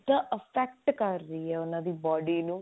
diet effect ਕਰਦੀ ਹੈ ਉਹਨਾਂ ਦੀ body ਨੂੰ